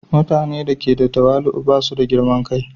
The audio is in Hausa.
Mutane da ke da tawali'u ba su da girman kai.